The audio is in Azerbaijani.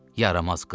Yaramaz qız!